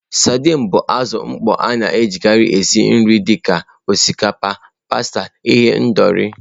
Sadin bụ azụ mkpọ nke a na-ejikarị esi nri dị ka osikapa, pasta, ihendori.